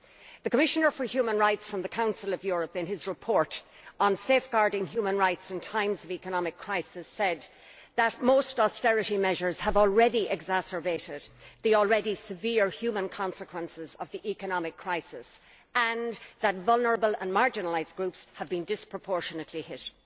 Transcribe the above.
The Commissioner for Human Rights from the Council of Europe, in his Report on Safeguarding human rights in times of economic crisis, said that most austerity measures have exacerbated the already severe human consequences of the economic crisis and that vulnerable and marginalised groups have been disproportionately hit.